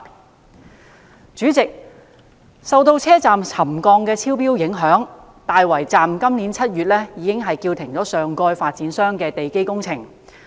代理主席，受到車站沉降超標影響，大圍站今年7月已將上蓋發展商的地基工程叫停。